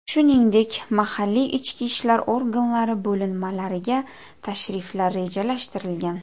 Shuningdek, mahalliy ichki ishlar organlari bo‘linmalariga tashriflar rejalashtirilgan.